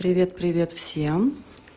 привет привет всем